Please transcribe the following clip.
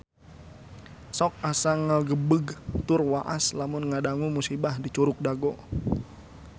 Sok asa ngagebeg tur waas lamun ngadangu musibah di Curug Dago